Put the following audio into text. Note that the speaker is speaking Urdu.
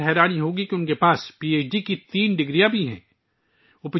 آپ کو یہ جان کر حیرت ہوگی کہ ان کے پاس پی ایچ ڈی کی تین ڈگریاں بھی ہیں